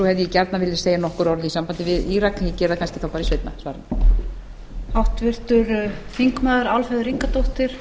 hefði ég gjarnan vilja segja nokkur orð í sambandi við írak en ég geri það kannski það bara í seinna svari mínu